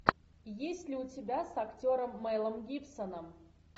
есть ли у тебя с актером мелом гибсоном